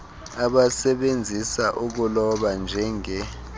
abasebenzisa ukuloba njenge